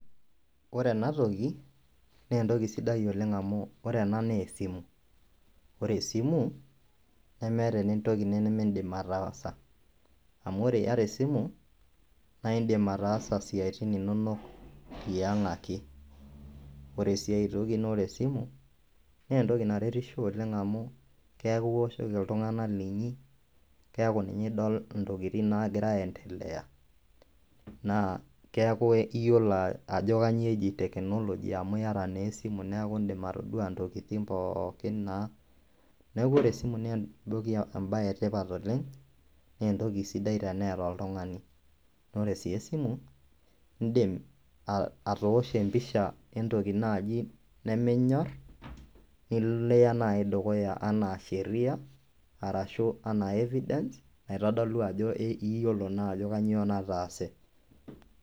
Ore ena toki naa entoki sidai oleng amu ore ena naa esimu ore esimu nemeeta entoki nimindim ataasa amu ore iyata esimu naa indiim ataasa isiatin inonok yiang ake ore sii ae toki naa ore esimu naa entoki naretisho amu keeku iwoshoki iltung'anak linyi keeku ninye idol intokitin naagira aayendelea naa keeku iyiolo ajo kanyioo eji technology amu iyata naa esimu neeku indiim atodua intokitin pookin neeku ore esimu naa entoki embaye etipat oleng naa entoki sidai teneeta oltung'ani naa ore sii esimu indim atoosho empisha entoki naaji neminyor nilo niya naaji dukuya enaa sheria arashuu enaa evidence naitodolu ajo iyiolo naa ajo kanyioo nataase.